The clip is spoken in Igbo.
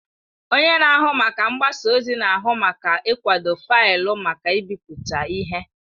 Onye na-ahụ maka mgbasa ozi na-ahụ maka ịkwado faịlụ maka ịbipụta ihe.